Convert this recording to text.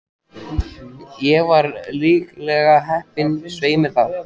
Ég var lygilega heppin, svei mér þá.